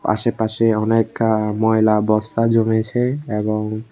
আশেপাশে অনেক এ ময়লা বস্তা জমেছে এবং--